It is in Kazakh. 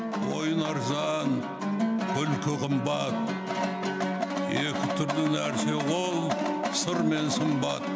ойын арзан күлкі қымбат екі түрлі нәрсе ол сыр мен сымбат